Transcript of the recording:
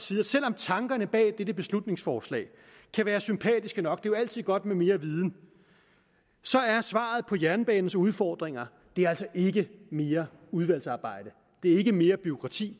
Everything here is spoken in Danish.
sige at selv om tankerne bag dette beslutningsforslag kan være sympatiske nok jo altid godt med mere viden er svaret på jernbanens udfordringer ikke mere udvalgsarbejde det ikke mere bureaukrati